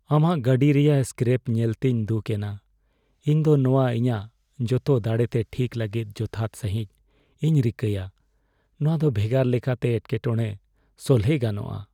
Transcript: ᱟᱢᱟᱜ ᱜᱟᱹᱰᱤ ᱨᱮᱭᱟᱜ ᱥᱠᱨᱮᱯ ᱧᱮᱞᱛᱮᱧ ᱫᱩᱠᱷ ᱮᱱᱟ; ᱤᱧ ᱫᱚ ᱱᱚᱶᱟ ᱤᱧᱟᱜ ᱡᱚᱛᱚ ᱫᱟᱲᱮᱛᱮ ᱴᱷᱤᱠ ᱞᱟᱹᱜᱤᱫ ᱡᱚᱛᱷᱟᱛ ᱥᱟᱹᱦᱤᱡ ᱤᱧ ᱨᱤᱠᱟᱹᱭᱟ ᱾ ᱱᱚᱶᱟ ᱫᱚ ᱵᱷᱮᱜᱟᱨ ᱞᱮᱠᱟᱛᱮ ᱮᱴᱠᱮᱴᱚᱲᱮ ᱥᱚᱞᱦᱮ ᱜᱟᱱᱚᱜᱼᱟ ᱾